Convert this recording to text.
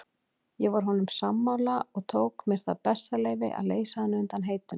Ég var honum sammála og tók mér það bessaleyfi að leysa hann undan heitinu.